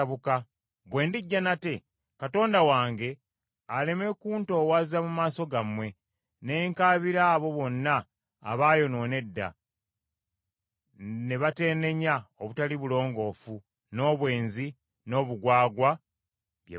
bwe ndijja nate, Katonda wange aleme kuntoowaza mu maaso gammwe, ne nkaabira abo bonna abaayonoona edda, ne bateenenya obutali bulongoofu, n’obwenzi, n’obugwagwa bye baakola.